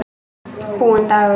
Búinn dagur.